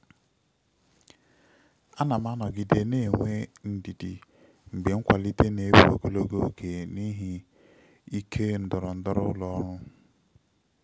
ana m anọgide na-enwe ndidi mgbe nkwalite na-ewe ogologo oge n'ihi ike ndọrọndọrọ ụlọ ọrụ.